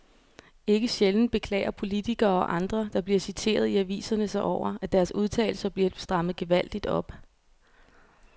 Ikke sjældent beklager politikere og andre, der bliver citeret i aviserne sig over, at deres udtalelser bliver strammet gevaldigt op.